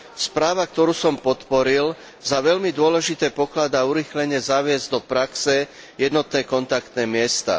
Správa, ktorú som podporil, za veľmi dôležité pokladá urýchlene zaviesť do praxe jednotné kontaktné miesta.